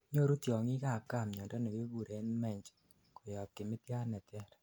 nyoru tiongikab gaa miando nekikuren mange koyob kimitiat neter